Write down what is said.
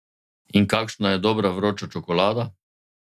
In kakšna je dobra vroča čokolada?